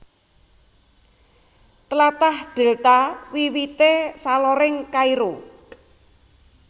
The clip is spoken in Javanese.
Tlatah Dèlta wiwité saloring Kairo